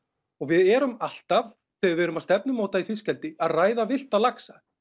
og við erum alltaf þegar við erum að stefnumóta í fiskeldi að ræða villta laxa